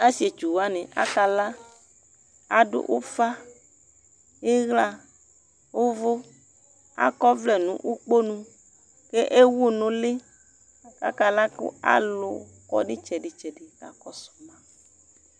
Asietsu wani akla, adʋ ʋƒa iɣla, ʋvʋ, ak'ɔvlɛ nʋ ukponu ke ewu n'ʋli kakala kʋ alʋ kɔ nitsɛdi tsɛdi kaka kɔsʋ ma